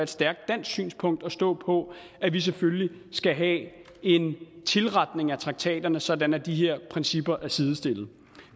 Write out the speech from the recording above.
stærkt dansk synspunkt at stå på at vi selvfølgelig skal have en tilretning af traktaterne sådan at de her principper er sidestillede